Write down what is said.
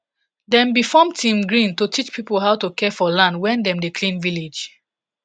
dem bi form team green to teach people how to care for land when dem dey clean village